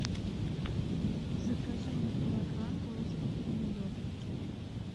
закажи мне килограмм розовых помидор